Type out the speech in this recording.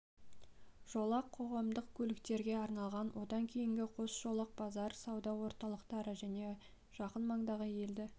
жолақ қоғамдық көліктерге арналған одан кейінгі қос жолақ базар сауда орталықтары және жақын маңдағы елді